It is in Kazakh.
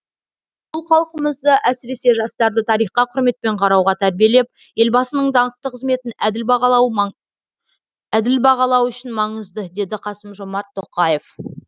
бұл халқымызды әсіресе жастарды тарихқа құрметпен қарауға тәрбиелеп елбасының даңқты қызметін әділ бағалау үшін маңызды деді қасым жомарт тоқаев